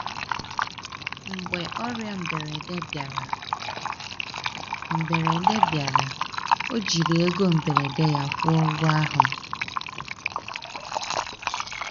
Mgbe ọrịa mberede bịara, mberede bịara, ọ jiri ego mberede ya kwụọ ụgwọ ahụ.